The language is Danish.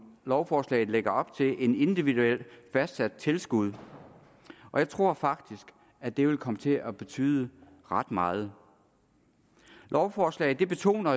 lovforslaget lægger op til et individuelt fastsat tilskud og jeg tror faktisk at det vil komme til at betyde ret meget lovforslaget betoner